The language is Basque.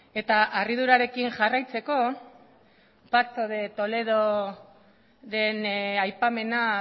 eta harridurarekin jarraitzeko pacto de toledoren aipamena